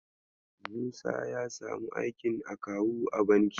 Musa ya samu aikin akawu a banki.